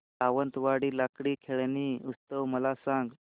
सावंतवाडी लाकडी खेळणी उत्सव मला सांग